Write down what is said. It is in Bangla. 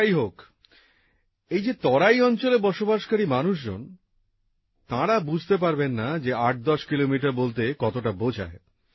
যাই হোক এই যে তরাই অঞ্চলে বসবাসকারী মানুষজন তাঁরা বুঝতে পারবেন না যে আটদশ কিলোমিটার বলতে কতটা বোঝায়